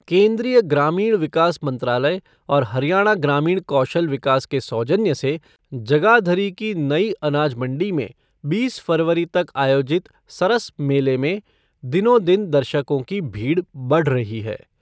केन्द्रीय ग्रामीण विकास मंत्रालय और हरियाणा ग्रामीण कौशल विकास के सौजन्य से जगाधरी की नई अनाज मंडी में बीस फरवरी तक आयोजित सरस मेले में दिनो दिन दर्शकों की भीड़ बढ़ रही है।